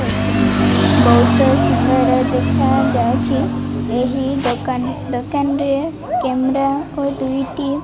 ବହୁତ ସୁନ୍ଦର ଦେଖାଯାଉଛି ଏହି ଦୋକାନ ଦୋକାନରେ କେମରା ଓ ଦୁଇଟି --